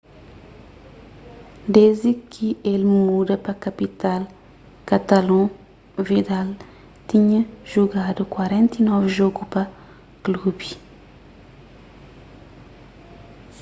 desdi ki el muda pa kapital katalon vidal tinha jugadu 49 jogu pa klubi